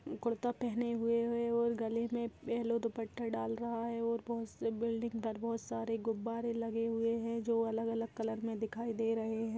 कुर्ता पहने हुए है और गले में येल्लो दुपट्टा दाल रहा है और बहुत से बिल्डिंग पर बहुत सारे गुब्बारे लगे हुए है जो अलग-अलग कलर में दिखाई दे रहे हैं।